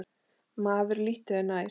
Maður líttu þér nær!